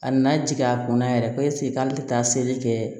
A nana jigin a kɔnɔ yɛrɛ ko ɛsike k'ale te taa seli kɛ